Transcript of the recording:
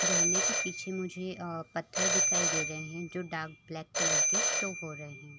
झरने के पीछे मुझे अअ पत्थर दिखाई दे रहें हैं जो डार्क कलर ब्लैक कलर के शो हो रहें हैं।